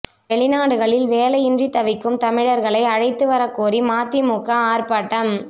வெளிநாடுகளில் வேலையின்றி தவிக்கும் தமிழர்களை அழைத்து வர கோரி மதிமுக ஆர்ப்பாட்டம்